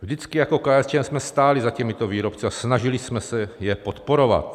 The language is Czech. Vždycky jako KSČM jsme stáli za těmito výrobci a snažili jsme se je podporovat.